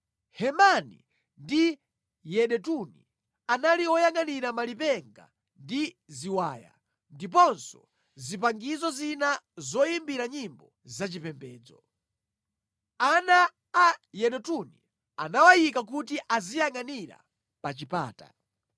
Hemani ndi Yedutuni anali oyangʼanira malipenga ndi ziwaya ndiponso zipangizo zina zoyimbira nyimbo zachipembedzo. Ana a Yedutuni anawayika kuti aziyangʼanira pa chipata.